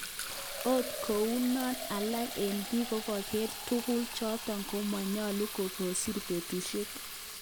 Ot kounon alak eng bik kogere tuguk choton komonyolu okokisir betushek.